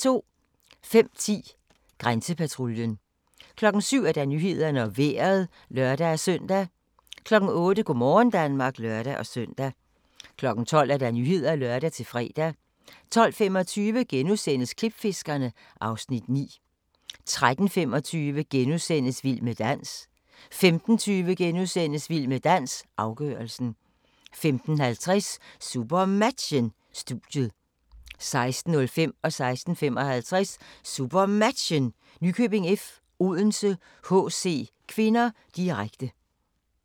05:10: Grænsepatruljen 07:00: Nyhederne og Vejret (lør-søn) 08:00: Go' morgen Danmark (lør-søn) 12:00: Nyhederne (lør-fre) 12:25: Klipfiskerne (Afs. 9)* 13:25: Vild med dans * 15:20: Vild med dans - afgørelsen * 15:50: SuperMatchen: Studiet 16:05: SuperMatchen: Nykøbing F.-Odense HC (k), direkte 16:55: SuperMatchen: Nykøbing F.-Odense HC (k), direkte